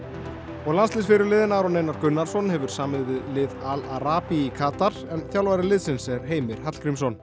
og landsliðsfyrirliðinn Aron Einar Gunnarsson hefur samið við lið Al í Katar en þjálfari liðsins er Heimir Hallgrímsson